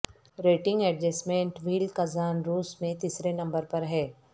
rating adjustment wheel Kazan روس میں تیسرے نمبر پر ہے